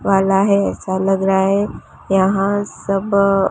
वाला है ऐसा लग रहा है। यहा सब--